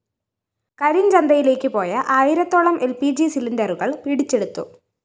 കരിഞ്ചന്തയിലേക്ക് പോയ ആയിരത്തോളം L P G സിലിണ്ടറുകള്‍ പിടിച്ചെടുത്തു